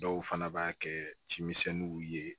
Dɔw fana b'a kɛ cimisɛnninw ye